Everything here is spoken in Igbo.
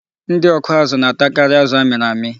Ndị ọkụazụ na-atakarị azụ a mịrị amị.